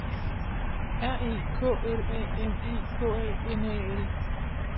R E K L A M E K A N A L